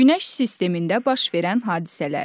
Günəş sistemində baş verən hadisələr.